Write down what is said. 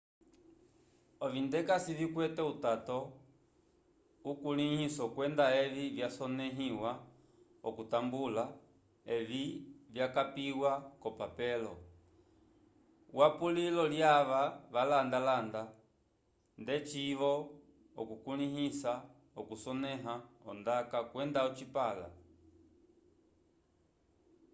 ovindekase vikwete utato ukulĩhiso kwenda evi vyasonẽhiwa okutambulula evi vyakapiwa k'opapelo yapulilo lyava valanda-landa ndeci-vo ukulĩhiso wokusonẽha ondaka kwenda ocipala